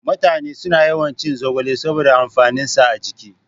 Mutane suna yawan cin zogale saboda amfanin sa a jiki